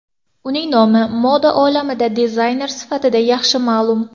Uning nomi moda olamida dizayner sifatida yaxshi ma’lum.